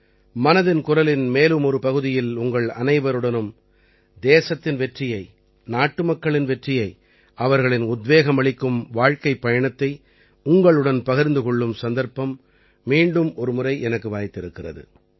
மனதின் குரலின் மேலும் ஒரு பகுதியில் உங்கள் அனைவருடனும் தேசத்தின் வெற்றியை நாட்டுமக்களின் வெற்றியை அவர்களின் உத்வேகமளிக்கும் வாழ்க்கைப் பயணத்தை உங்களுடன் பகிர்ந்து கொள்ளும் சந்தர்ப்பம் மீண்டும் ஒரு முறை எனக்கு வாய்த்திருக்கிறது